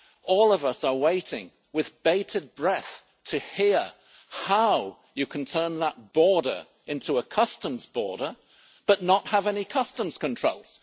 All of us are waiting with bated breath to hear how you can turn that border into a customs border but not have any customs controls.